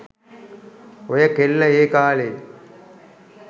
ඔය කෙල්ල ඒ කාලෙ